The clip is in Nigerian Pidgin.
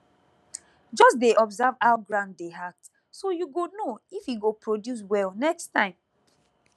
just dey observe how ground dey act so you go know if e go produce well next time